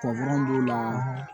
b'u la